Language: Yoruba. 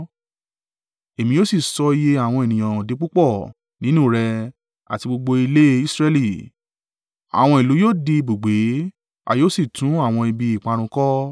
èmi yóò sì sọ iye àwọn ènìyàn di púpọ̀ nínú rẹ àti gbogbo ilé Israẹli. Àwọn ìlú yóò di ibùgbé, a yóò sì tún àwọn ibi ìparun kọ́.